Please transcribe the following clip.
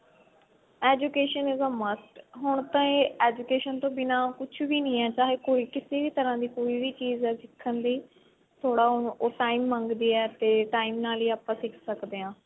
education is a must ਹੁਣ ਤਾਂ ਇਹ education ਤੋਂ ਬਿਨਾ ਕੁੱਛ ਵੀ ਨਹੀਂ ਐਸਾ ਹੈ ਕੋਈ ਕਿਸੇ ਵੀ ਤਰ੍ਹਾਂ ਦੀ ਕੋਈ ਵੀ ਚੀਜ ਹੈ ਸਿੱਖਨ ਦੀ ਥੋੜਾ ਉਹ time ਮੰਗਦੀ ਹੈ ਤੇ time ਨਾਲ ਹੀ ਆਪਾਂ ਸਿੱਖ ਸਕਦੇ ਹਾਂ